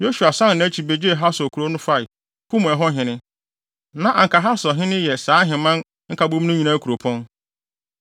Yosua san nʼakyi begyee Hasor kurow no fae, kum ɛhɔ hene. (Na anka Hasor yɛ saa ahemman nkabom no nyinaa kuropɔn.)